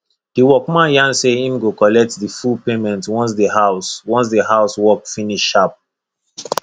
the workman yarn say him go collect the full payment once the house once the house work finish sharp